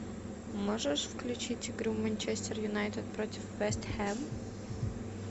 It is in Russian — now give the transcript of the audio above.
можешь включить игру манчестер юнайтед против вест хэм